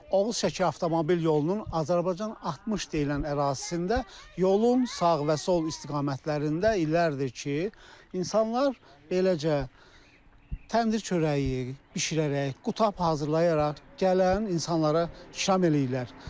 Oğuz-Şəki avtomobil yolunun Azərbaycan 60 deyilən ərazisində yolun sağ və sol istiqamətlərində illərdir ki, insanlar eləcə təndir çörəyi bişirərək, qutab hazırlayaraq gələn insanlara şam eləyirlər.